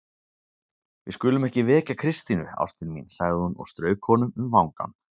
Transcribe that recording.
Við skulum ekki vekja Kristínu, ástin mín sagði hún og strauk honum um vangann.